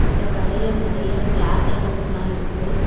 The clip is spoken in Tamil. இந்த கடையில நறைய கிளாஸ் ஐட்டம்ஸ்லா இருக்கு.